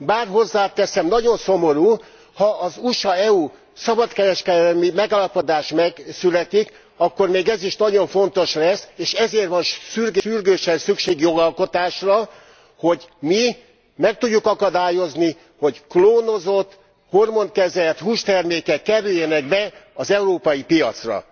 Bár hozzáteszem, nagyon szomorú, ha az USA EU szabadkereskedelmi megállapodás megszületik, akkor még ez is nagyon fontos lesz. És ezért van sürgősen szükség jogalkotásra, hogy mi meg tudjuk akadályozni, hogy klónozott, hormonkezelt hústermékek kerüljenek be az európai piacra.